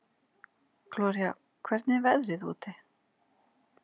Gloría, hvernig er veðrið úti?